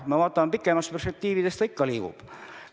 Me leiame, et pikemas perspektiivis see ikka liigub.